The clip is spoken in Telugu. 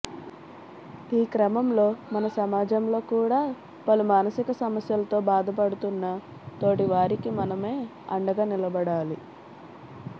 ఈ క్రమంలో మన సమాజంలో కూడా పలు మానసిక సమస్యలతో బాధపడుతోన్న తోటి వారికి మనమే అండగా నిలబడాలి